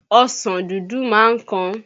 Ọsàn dúdú máa ń kan